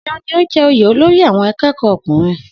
Seun ní o jẹ oyè olórí àwọn akẹ́kọ̀ọ́ ọkùnrin